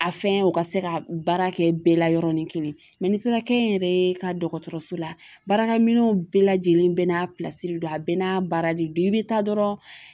A fɛn o ka se ka baara kɛ bɛɛ la yɔrɔnin kelen ni taara kɛnyɛrɛye ka dɔgɔtɔrɔso la baarakɛminɛnw bɛɛ lajɛlen bɛɛ n'a pilasi de don a bɛɛ n'a baara de don i bɛ taa dɔrɔn